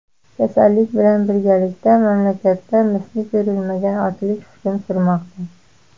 Kasallik bilan birgalikda mamlakatda misli ko‘rilmagan ochlik hukm surmoqda.